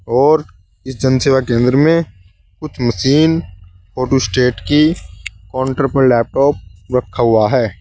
और इस जनसेवा केंद्र में कुछ मशीन फोटोस्टेट की काउंटर पर लैपटॉप रखा हुआ है।